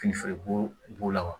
Fini feere b'o b'o la wa